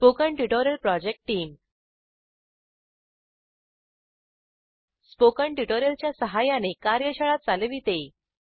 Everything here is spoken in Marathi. spoken tutorial project team spoken tutorial च्या सहाय्याने कार्यशाळा चालविते